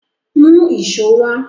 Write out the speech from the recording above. Mú èṣó wá!